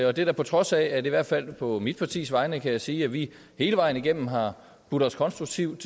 og det er på trods af at jeg i hvert fald på mit partis vegne kan sige at vi hele vejen igennem har budt os konstruktivt